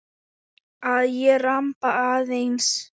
Að ég ramba aðeins.